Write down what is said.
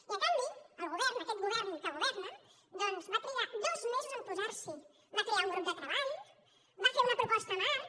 i en canvi el govern aquest govern que governa doncs va trigar dos mesos a posar s’hi va crear un grup de treball va fer una proposta marc